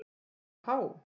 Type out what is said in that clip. Já há!